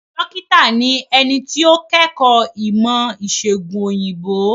Dókítà ni ẹni tí ó kẹ́kọ̀ọ́ ìmọ̀ ìsègùn òyìnbó.